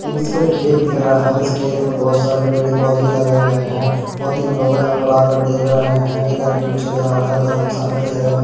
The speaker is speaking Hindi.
ये किसका खेत दिख रहा है और इस खेत में बहुत सारे पेड़ पौधे लगाए गए हैं और तीन लोग यहां पर आकर देख रहे हैं एक आदमी जा रहा है दो आदमी ठहरें हुए --